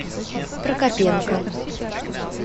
прокопенко